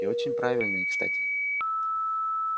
и очень правильные кстати